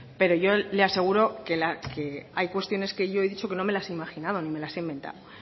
pero yo le aseguro que hay cuestiones que yo he dicho que no me las he imaginado ni me las he inventado